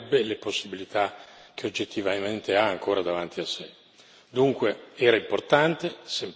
Senza questa l'Unione europea non avrebbe le possibilità che oggettivamente ha ancora davanti a sé.